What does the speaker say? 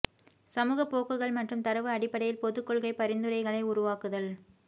சமூக போக்குகள் மற்றும் தரவு அடிப்படையில் பொது கொள்கை பரிந்துரைகளை உருவாக்குதல்